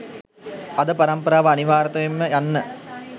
අද පරම්පරාව අනිවාරතයෙන්ම යන්න